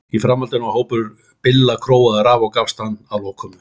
Í framhaldinu var hópur Billa króaður af og gafst hann að lokum upp.